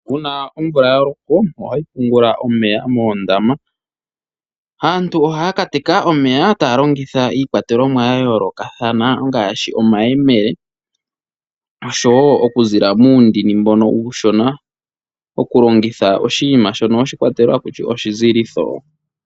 Uuna omvula ya loko ohayi pungula omeya moondama. Aantu ohaya ka teka omeya taya longitha iikwatelomwa ya yoolokathana ngaashi omayemele noshowo okuzila muundini mbono uushona, okulongitha oshinima shono shoshikwatelo haku tiwa oshizilitho.